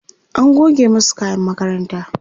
an goge masu kayan makaranta